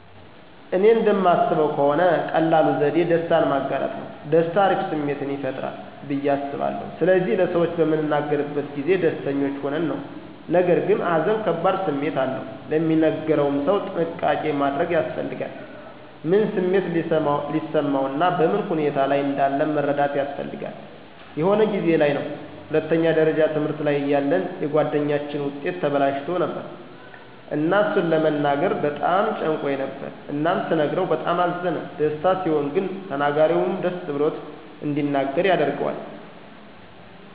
እኔ እንደማስበው ከሆነ ቀላሉ ዘዴ ደስታን ማጋራት ነው። ደስታ አሪፍ ስሜትን ይፈጥራል ብዬ አስባለሁ ስለዚህ ለሰዎች በምንናገርበት ጊዜ ደስተኞች ሆነን ነው። ነገርግን ሃዘን ከባድ ስሜት አለው፤ ለሚነገረው ሰው ጥንቃቄ ማድረግ ያስፈልጋል። ምን ስሜት ሊሰማው እና በምን ሁኔታ ላይ እንዳለ መረዳት ያስፈልጋል። የሆነ ጊዜ ላይ ነው ሁለተኛ ደረጃ ትምህርት ላይ እያለን የጉአደኛችን ዉጤት ተበላሽቶ ነበር እና እሱን ለመናገር በጣም ጨንቆኝ ነበር እናም ስነግረው በጣም አዘነ። ደስታ ሲሆን ግን ተናጋሪውም ደስ ብሎት እንዲናገር ያደርጋል።